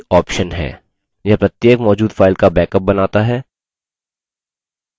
यह प्रत्येक मौजूद file का बैकअप बनाता है